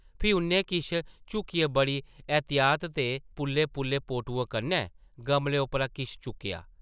फ्ही उʼन्नै किश झुकियै बड़ी एह्तियात ते पुल्ले-पुल्ले पोटुएं कन्नै गमले उप्परा किश चुक्केआ ।